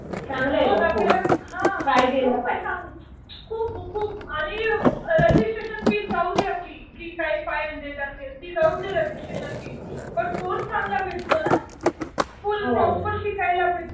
बघ आपल्याला हा. खूप चांगलं आहे. खूप खूप आणि रजिस्ट्रेशन फी जाऊदे आपली.जी काय फाईव्ह हंड्रेड असेल. ती जाऊदे रजिस्ट्रेशन फी. बट कोर्स चांगला भेटतो ना. फुल प्रॉपर शिकायला भेटतं.